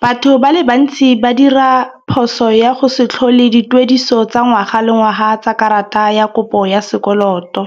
Batho ba le bantsi ba dira phoso ya go se tlhole dituediso tsa ngwaga le ngwaga tsa karata ya kopo ya sekoloto.